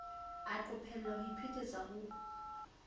a qophella ho iphetetsa ho